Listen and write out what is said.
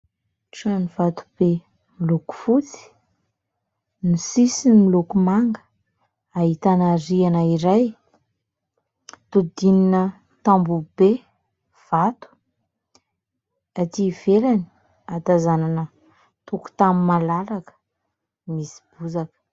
Trano vato be miloko fotsy, ny sisiny miloko manga, ahitana rihana iray, hodidinina tamboho be vato, aty ivelany ahatazanana tokotany malalaka misy bozaka.